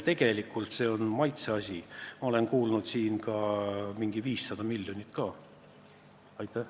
Tundub, et see on maitseasi, olen kuulnud 500 miljonit ka mainitavat.